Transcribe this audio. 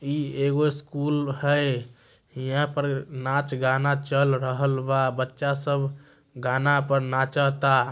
ई एगो स्कूल है। यहां पर नाच-गाना चल रहल बा। बच्चा सब गाना पर नाचा ता ।